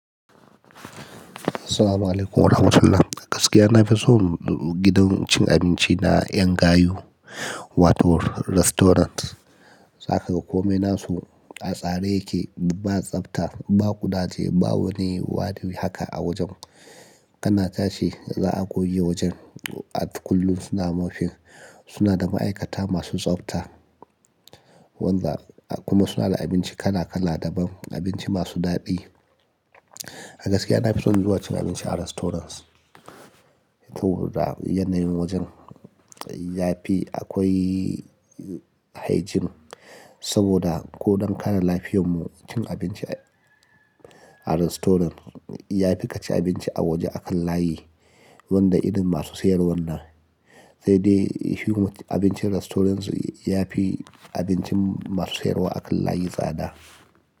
Assalamu alaykum warahmatullah. A gaskiya na fi son gidan cin abinci na ƴan gayu, Wato Restaurant. Saka kome nasu, a tsare yake, ba tsafta, ba ƙudaje, ba wani wadi haka a wajen. Kana tashi za a goge wajen. A duk kullum suna mopping. Suna da ma'aikata masu tsafta, wanda kuma suna da abinci kala kala daban, abinci masu daɗi. A gaskiya na fi son zuwa cin abinci a restaurants. To da yanayin wajen yafi akwai hygiene saboda ko don kare lafiyar mu cin abinci a restaurant yafi ka ci abinci a waje a kan layi wanda irin masu siyarwar nan. Sai dai himut abincin restaurants yafi abincin masu siyarwa a kan layi tsada.